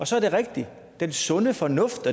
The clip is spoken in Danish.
så er det rigtigt at den sunde fornuft